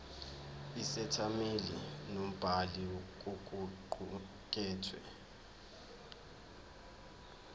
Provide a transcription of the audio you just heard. isethameli nombhali kokuqukethwe